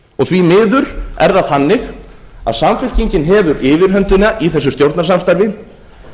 því miður er það þannig að samfylkingin hefur yfirhöndina í þessu stjórnarsamstarfi